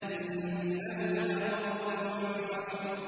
إِنَّهُ لَقَوْلٌ فَصْلٌ